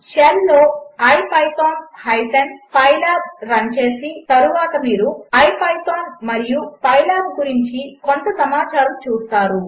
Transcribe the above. షెల్లోIPython pylabరన్చేసినతరువాతమీరుipythonమరియుpylabగురించికొంతసమాచారముచూస్తారు